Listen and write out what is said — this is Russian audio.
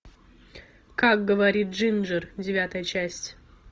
как говорит джинджер девятая часть